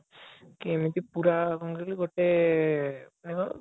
କି ଏମିତି ପୁରା କଣ କହିଲୁ ଗୋଟେ ମାନେ